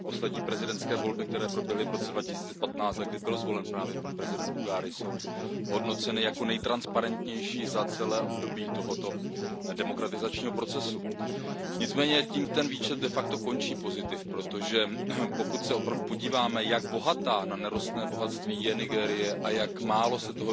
Poslední prezidentské volby, které proběhly v roce 2015 a kdy byl zvolen právě prezident Buhari, jsou hodnoceny jako nejtransparentnější za celé období tohoto demokratizačního procesu. Nicméně tím ten výčet pozitiv končí, protože pokud se opravdu podíváme, jak bohatá na nerostné bohatství je Nigérie a jak málo se